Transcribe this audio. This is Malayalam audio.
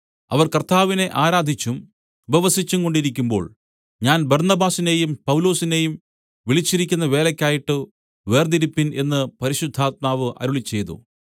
അവർ കർത്താവിനെ ആരാധിച്ചും ഉപവസിച്ചുംകൊണ്ടിരിക്കുമ്പോൾ ഞാൻ ബർന്നബാസിനെയും പൗലോസിനേയും വിളിച്ചിരിക്കുന്ന വേലയ്ക്കായിട്ട് വേർതിരിപ്പിൻ എന്ന് പരിശുദ്ധാത്മാവ് അരുളിച്ചെയ്തു